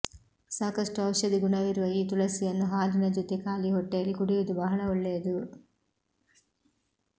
ಸಾಕಷ್ಟು ಔಷಧಿ ಗುಣವಿರುವ ಈ ತುಳಸಿಯನ್ನು ಹಾಲಿನ ಜೊತೆ ಖಾಲಿ ಹೊಟ್ಟೆಯಲ್ಲಿ ಕುಡಿಯುವುದು ಬಹಳ ಒಳ್ಳೆಯದು